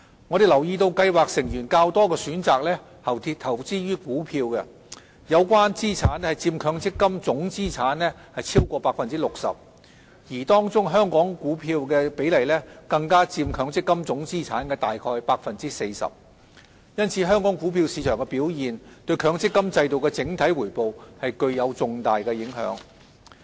我們留意到計劃成員較多選擇投資於股票，有關資產佔強積金總資產超過 60%， 而當中香港股票的比例更佔強積金總資產約 40%， 因此香港股票市場的表現對強積金制度的整體回報具有重大影響。